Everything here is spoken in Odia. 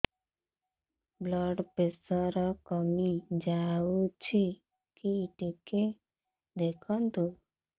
ବ୍ଲଡ଼ ପ୍ରେସର କମି ଯାଉଛି କି ଟିକେ ଦେଖନ୍ତୁ